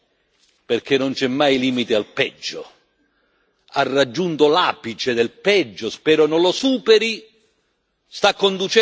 Ha raggiunto l'apice del peggio, spero non lo superi, e sta conducendo verso il disastro il pianeta, ma noi lo fermeremo.